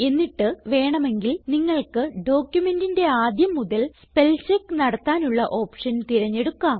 എന്നിട്ട് വേണമെങ്കിൽ നിങ്ങൾക്ക് ഡോക്യുമെന്റിന്റെ ആദ്യം മുതൽ സ്പെൽചെക്ക് നടത്താനുള്ള ഓപ്ഷൻ തിരഞ്ഞെടുക്കാം